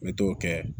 N bɛ t'o kɛ